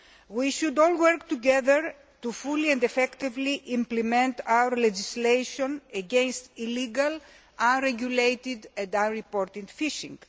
we should all work together to fully and effectively implement our legislation against illegal, unregulated and unreported fishing.